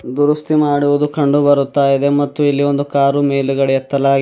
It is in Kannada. ದುರುಸ್ತಿ ಮಾಡುವುದು ಕಂಡು ಬರುತಾಇದೆ ಮತ್ತು ಇಲ್ಲಿ ಒಂದು ಕಾರು ಮೇಲಗಡೆ ಎತ್ತಲಾಗಿದೆ --